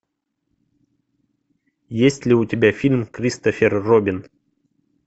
есть ли у тебя фильм кристофер робин